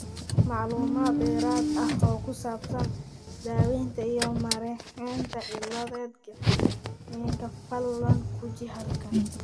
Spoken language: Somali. Macluumaad dheeraad ah oo ku saabsan daaweynta iyo maareynta cilada Gardnerka, fadlan guji halkan.